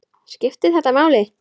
Skiptir þetta máli?